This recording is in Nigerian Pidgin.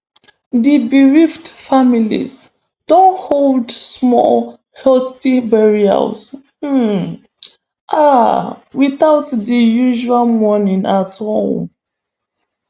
di bereaved families don hold small hasty burials um um witout di usual mourning at home